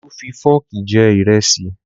Olú fi fọ́ọ̀kì jẹ ìrẹsì